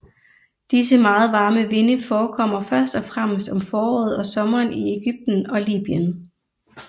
Disse meget varme vinde forekommer først og fremmest om foråret og sommeren i Egypten og Libyen